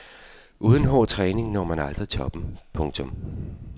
Uden hård træning når man aldrig toppen. punktum